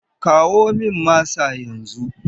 Kawo min masa yanzu!